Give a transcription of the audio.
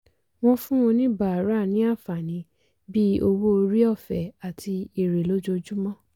wọ́n fún oníbàárà ní àǹfààní bíi owó orí ọ̀fẹ́ àti èrè lójoojúmọ́.